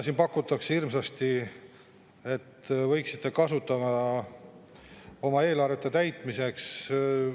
Siin pakutakse hirmsasti, et võiksite kasutada oma eelarvete täitmiseks maamaksu.